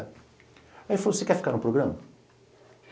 Aí ele falou, você quer ficar no programa?